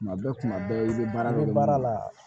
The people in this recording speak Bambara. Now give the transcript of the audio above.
Kuma bɛɛ kuma bɛɛ i bɛ baara kɛ baara la